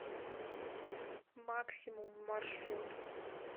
максимум маршрут